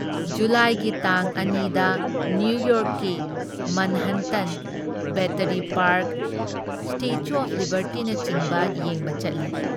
ꯖꯨꯂꯥꯏꯒꯤ ꯇꯥꯡ ꯑꯅꯤ ꯗ ꯅꯤꯌꯨꯌꯣꯔꯛꯀꯤ Manhattan, Battery Park, statue of ꯂꯤꯕꯔꯇꯤꯅꯆꯤꯡꯕ ꯌꯦꯡꯕ ꯆꯠꯂꯤ ꯫